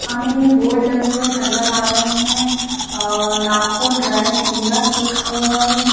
हमें बोर्ड लगे हुए नजर आ रहे है और नागपुर ड्राई क्लीनर्स लिखा हुआ है।